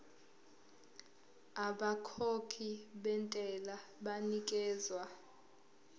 abakhokhi bentela banikezwa